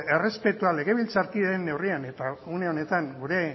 errespetua legebiltzarkideen neurrian eta une honetan gure